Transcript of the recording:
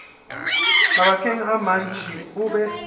mabakeng a mantši o be